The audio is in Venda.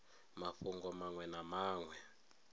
mafhungo manwe na manwe a